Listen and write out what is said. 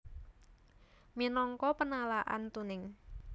Minangka penalaan tuning